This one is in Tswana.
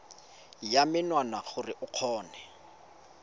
ya menwana gore o kgone